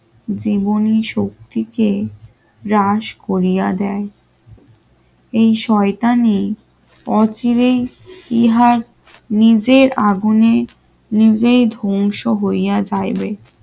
জীবনী শক্তিকে গ্রাস করিয়া দেয় এই শয়তানে অচিরেই ইহার নিজের আগুনে নিজেই ধ্বংস হইয়া যাইবে